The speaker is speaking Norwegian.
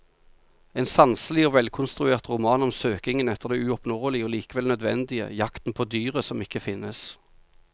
En sanselig og velkonstruert roman om søkingen etter det uoppnåelige og likevel nødvendige, jakten på dyret som ikke finnes.